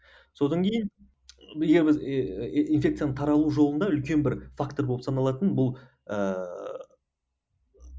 содан кейін егер біз инфекцияның таралу жолында үлкен бір фактор болып саналатын бұл ыыы